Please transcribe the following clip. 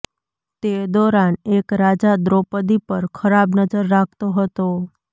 તે દૌરાન એક રાજા દ્રૌપદી પર ખરાબ નજર રાખતો હતો